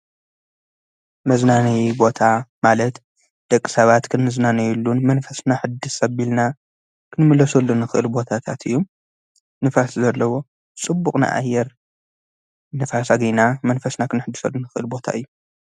መዝናነይ ቦታ ማለት ደቕ ሳባት ክንዝናነዩሉን መንፈስና ሕድስ ሰቢልና ክንምለሱሉን ኽእልቦታታት እዩ ንፋስ ዘለዎ ጽቡቕናኣየር ንፋሳ ጊይና መንፈስና ኽንሕድሰሉን ኽእልቦታ እዩ።